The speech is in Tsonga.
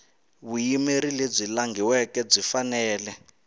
vuyimeri lebyi langhiweke byi fanele